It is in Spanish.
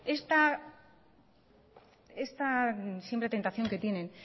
está siempre tentación que tienen